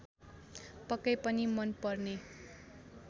पक्कै पनि मनपर्ने